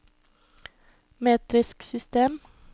metrisk system